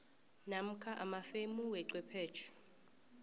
namkha amafemu wechwephetjhe